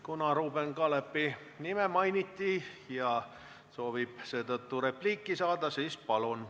Kuna Ruuben Kaalepi nime mainiti ja ta soovib seetõttu repliiki saada, siis palun!